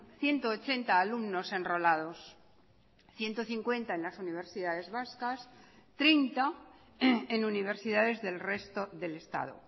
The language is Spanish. ciento ochenta alumnos enrolados ciento cincuenta en las universidades vascas treinta en universidades del resto del estado